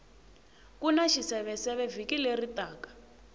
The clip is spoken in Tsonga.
kuna xiseveseve vhiki leri taka